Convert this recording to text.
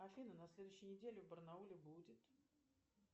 афина на следующей неделе в барнауле будет